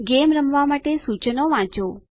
game રમવા માટે સૂચનો વાંચો